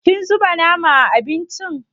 Kin zuba nama a abincin?